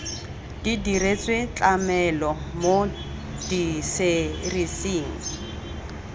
di diretswe tlamelo mo diserising